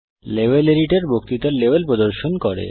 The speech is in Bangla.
লেভেল এডিটর বক্তৃতার লেভেল প্রদর্শিত করে